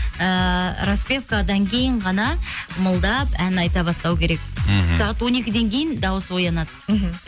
ыыы распевкадан кейін ғана ымылдап ән айта бастау керек мхм сағат он екіден кейін дауыс оянады мхм